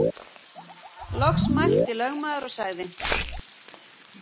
Loks mælti lögmaður og sagði